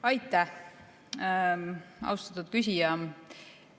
Aitäh, austatud küsija!